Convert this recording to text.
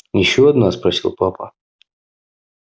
ещё одна спросил папа